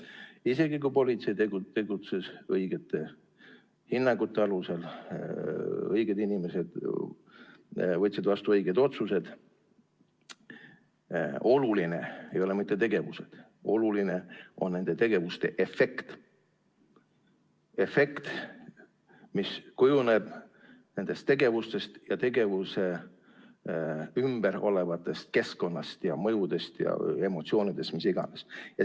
Isegi kui politsei tegutses õigete hinnangute alusel, õiged inimesed võtsid vastu õiged otsused, ei ole olulised mitte tegevused, oluline on nende tegevuste efekt, see efekt, mis kujuneb nendest tegevustest ja tegevuse ümber olevast keskkonnast ja mõjudest ja emotsioonidest, millest iganes.